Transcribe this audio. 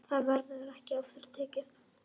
Það verður ekki aftur tekið.